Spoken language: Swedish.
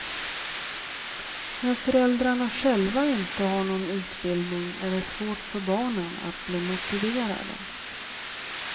När föräldrarna själva inte har någon utbildning är det svårt för barnen att bli motiverade.